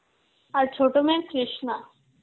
আর ছোট মেয়ে কৃষ্ণা.